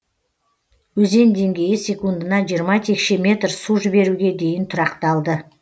өзен деңгейі секундына жиырма текше метр су жіберуге дейін тұрақталды